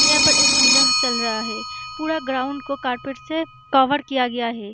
यहाँ पर एक पूजा चल रहा है पूरा ग्राउंड को कारपेट से कवर किया गया है।